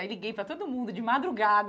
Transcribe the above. Aí liguei para todo mundo de madrugada.